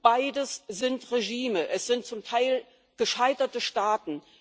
Beides sind Regime es sind zum Teil gescheiterte Staaten.